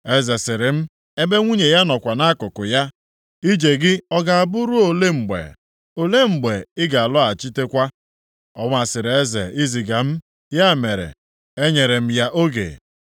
Eze sịrị m, ebe nwunye ya nọkwa nʼakụkụ ya, “Ije gị ọ ga-abụ ruo olee mgbe, olee mgbe ị ga-alọghachitekwa?” Ọ masịrị eze i ziga m. Ya mere, enyere m ya oge.